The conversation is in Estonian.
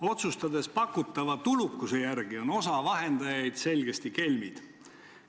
Otsustades pakutava tulukuse järgi, on osa vahendajaid selgesti kelmid.